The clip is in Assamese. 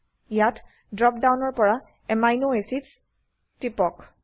ইয়াত ড্ৰপ ডাউনৰ পৰা আমিন এচিডছ ত টিপক